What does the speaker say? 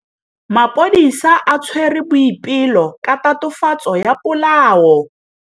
Maphodisa a tshwere Boipelo ka tatofatsô ya polaô.